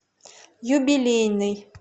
юбилейный